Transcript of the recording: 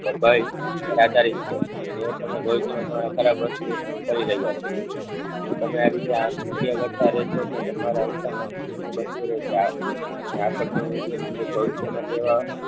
ભય પ્રચારિત છે અને તમે ભવિષ્ય્માં તમારા ખરાબ વસ્તુઓ ઉત્પન્ન કરી રહ્યા છો. તમે આરીતે આ કરતા રેહશો તો તમારા રસ્તામાં બનતો રહેશે. અને આકર્ષણ નો નિયમ મુજબ ભવિષ્યમાં કેવા